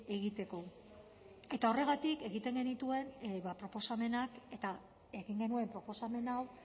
egiteko eta horregatik egiten genituen proposamenak eta egin genuen proposamen hau